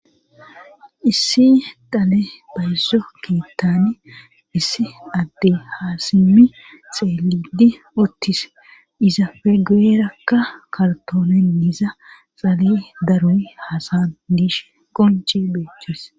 Issi dale bayzo keettani issi adde haasimi xeelidi uttis izafe gueerakka kartoonenniza xale daroy hasadish qonci beeches.